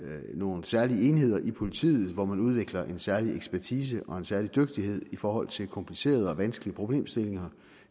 nogle særlige enheder i politiet hvor man udvikler en særlig ekspertise og en særlig dygtighed i forhold til komplicerede og vanskelige problemstillinger